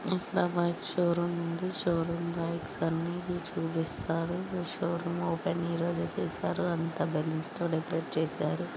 Showroom bikes అన్ని చూపిస్తున్నారు. ఈ షోరూమ్ ఓపెన్ ఈ రోజే చేశారు. అంతా బెలోన్స్ తో డెకరేట్ చేశారు.